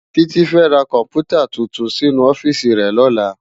Titi fè rá kòmpútá túntún sinú òfìsí rè lòlá